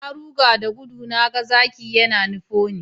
Na ruga da gudu na ga zaki yana nufo ni